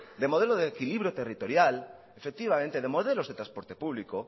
de modelo de equilibrio territorial efectivamente de modelos de trasporte público